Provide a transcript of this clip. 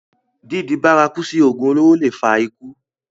dídi bárakú sí ògùn olóró le è fa ikú